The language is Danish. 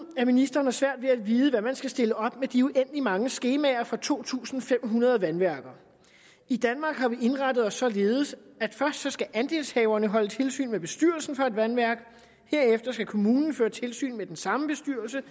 at ministeren har svært ved at vide hvad man skal stille op med de uendelig mange skemaer fra to tusind fem hundrede vandværker i danmark har vi indrettet os således at først skal andelshaverne holde tilsyn med bestyrelsen for et vandværk herefter skal kommunen føre tilsyn med den samme bestyrelse